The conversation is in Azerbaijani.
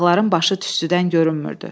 Dağların başı tüstüdən görünmürdü.